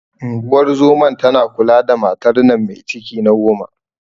Unguwar zoman tana kula da matar nan me ciki na goma.